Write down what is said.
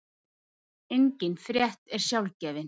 engin frétt er sjálfgefin